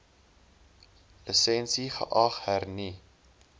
lisensie geag hernu